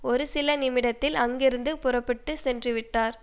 ஒரு சில நிமிடத்தில் அங்கிருந்து புறப்பட்டு சென்று விட்டார்